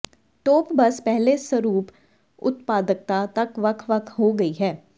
ਤੋਪ ਬੱਸ ਪਹਿਲੇ ਸਰੂਪ ਉਤਪਾਦਕਤਾ ਤੱਕ ਵੱਖ ਵੱਖ ਹੋ ਗਈ ਹੈ